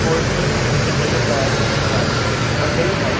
wholesale and retail दार and वाड़ी पगड़ी हाउ--